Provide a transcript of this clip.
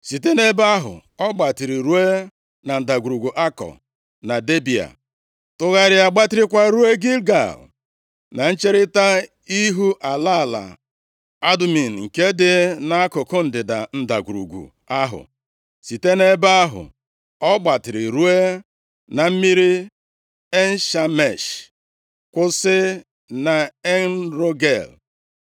Site nʼebe ahụ, ọ gbatịrị ruo na Ndagwurugwu Akọ na Debịa, tụgharịa gbatịrịkwa ruo Gilgal, na ncherita ihu ala ala Adumim nke dị nʼakụkụ ndịda ndagwurugwu ahụ. Site nʼebe ahụ ọ gbatịrị ruo na mmiri En-Shemesh, kwụsị na En-Rogel.